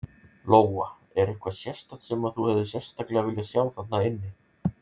Lóa: Er eitthvað sérstakt sem að þú hefðir sérstaklega viljað sjá þarna inni?